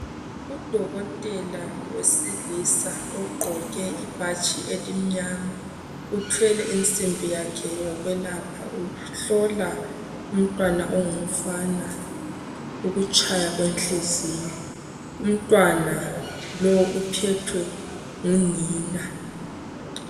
Udokotela wesilisa ogqoke ibhatshi elimnyama uthwele insimbi yakhe yokwelapha. Uhlola umntwana ongumfana ukutshaya kwenhliziyo . Umntwana lowu uphethwe ngunina.